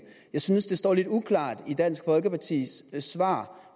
jeg synes det står lidt uklart i dansk folkepartis svar